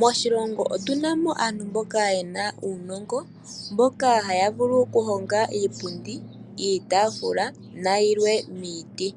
Moshilongo otu na mo aantu mboka ye na uunongo mboka haya vulu oku honga iipundi, iitaafula nayilwe oku za momiti.